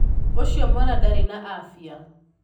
Ūcio mwana ndarī na abia